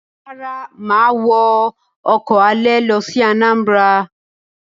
Rárá, mà á wọ ọkọ̀ alẹ̀ lọ sí Anambra.